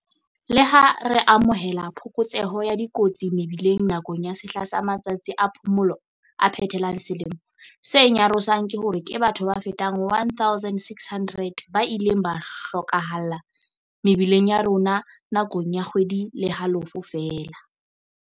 Leha re amohela phokotseho ya dikotsi mebileng nakong ya sehla sa matsatsi a phomolo a phethelang selemo, se nyarosang ke hore ke batho ba fetang 1,600 ba ileng ba hlo kahalla mebileng ya rona na kong ya kgwedi le halofo feela.